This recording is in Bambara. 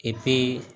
Epi